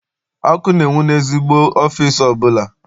Ọkụ na-enwu n'ezigbo ọfịịsi ọbụla.